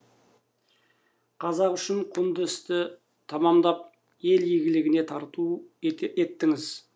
қазақ үшін құнды істі тәмамдап ел игілігіне тарту еттіңіз